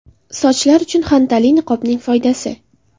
Sochlar uchun xantalli niqobning foydasi.